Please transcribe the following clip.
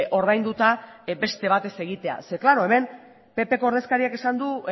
ordainduta beste bat ez egitea ze klaro hemen ppko ordezkariak esan du